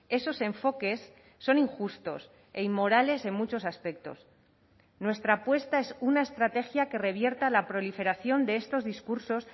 esos enfoques son injustos e inmorales en muchos aspectos nuestra apuesta es una estrategia que revierta la proliferación de estos discursos